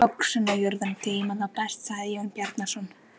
Öxin og jörðin geyma þá best, sagði Jón Bjarnason.